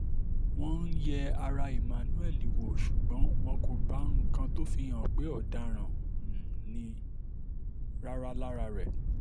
wọ́n um yẹ ara emmanuel wò ṣùgbọ́n wọn kò bá nǹkan tó fi hàn pé ọ̀daràn um ni rárá lára rẹ̀